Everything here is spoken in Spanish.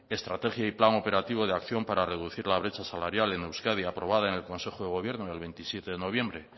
estrategia y plan operativo de acción para reducir la brecha salarial en euskadi aprobada en el consejo de gobierno del veintisiete de noviembre